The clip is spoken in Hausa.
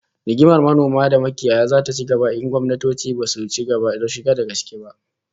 Rigimar manoma da makiyaya zata ci gaba in gwamnatoci basu shiga ciki da gaske ba